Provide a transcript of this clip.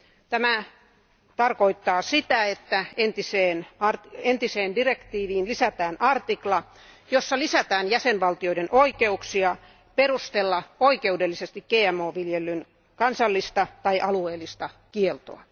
Tämä tarkoittaa sitä, että entiseen direktiiviin lisätään artikla, jossa lisätään jäsenvaltioiden oikeuksia perustella oikeudellisesti GMO viljelyn kansallista tai alueellista kieltoa.